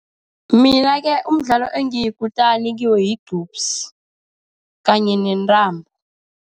Mina-ke umdlalo engiyikutani kiwo yigqupsi, kanye nentambo.